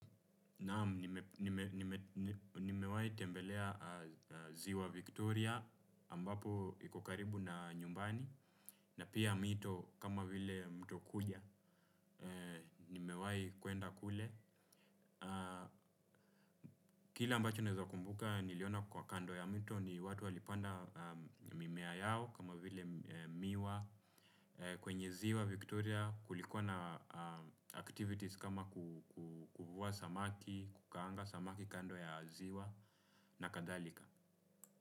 Naam, nimewahi tembelea ziwa Victoria ambapo iko karibu na nyumbani na pia mito kama vile mto kuja, nimewahi kwenda kule kile ambacho naweza kumbuka niliona kwa kando ya mito ni watu walipanda mimea yao kama vile miwa kwenye ziwa Victoria kulikuwa na activities kama kuvua samaki, kukaanga samaki kando ya ziwa na kadhalika.